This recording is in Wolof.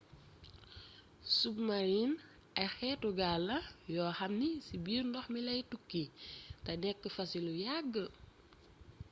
submarines ay xéétu gaal la yoo xam ni ci biir ndox mi lay tukki té nékk fa ci lu yagg